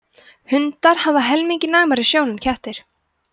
hundar hafa helmingi næmari sjón en kettir